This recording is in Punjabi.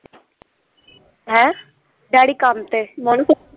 ਹੈਂ ਡੈਡੀ ਕੰੰਮ ਤੇ